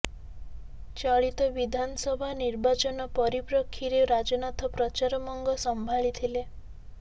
ଚଳିତ ବିଧାନ ସଭା ନିର୍ବାଚନ ପରିପ୍ରକ୍ଷୀରେ ରାଜନାଥ ପ୍ରଚାର ମଙ୍ଗ ସମ୍ଭାଳିଥିଲେ